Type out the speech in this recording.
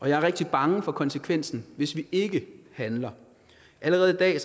jeg er rigtig bange for konsekvensen hvis vi ikke handler allerede i dag